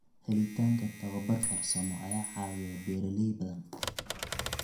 Helitaanka tababar farsamo ayaa caawiya beeralay badan.